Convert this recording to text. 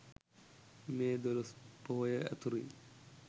මේ දොළොස් පොහොය අතුරින්